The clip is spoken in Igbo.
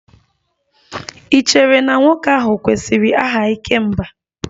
Ì chere na nwoke ahụ kwesịrị aha 'ikemba'?